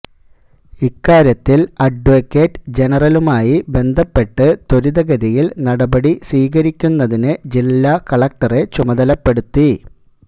ഇക്കാര്യത്തില് അഡ്വക്കേറ്റ് ജനറലുമായി ബന്ധപ്പെട്ട് ത്വരിതഗതിയില് നടപടി സ്വീകരിക്കുന്നതിന് ജില്ലാ കളക്ടറെ ചുമതലപ്പെടുത്തി